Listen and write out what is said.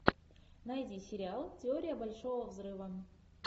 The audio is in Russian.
найди сериал теория большого взрыва